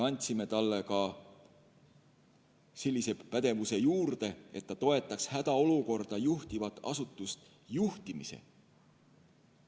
Andsime talle ka sellise pädevuse juurde, et ta toetaks hädaolukorda juhtivat asutust juhtimisel.